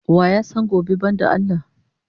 Wa ya san gobe banda Allah?